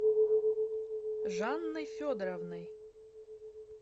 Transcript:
жанной федоровной